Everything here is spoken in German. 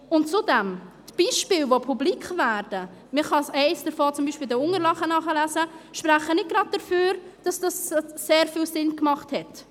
Und zudem: Die Beispiele, die publik werden – man kann eines davon zum Beispiel in den Unterlagen nachlesen –, sprechen nicht gerade dafür, dass das sehr viel Sinn gemacht hat: